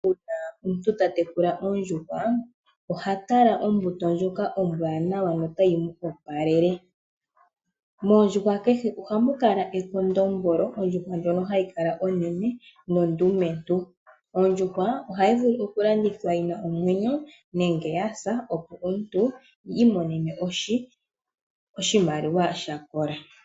Una omuntu ta tekula oondjuhwa oha tala ombuto ndjoka ombwanawa notayi mu opalele. Mondjuhwa kehe ohamu kala ekondombolo, ondjuhwa ndjono hayi kala onene nondumentu. Ondjuhwa oha yi vulu oku landithwa yina omwenyo nenge ya sa opo yi imonene oshimaliwa sha kola.